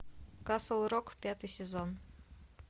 касл рок пятый сезон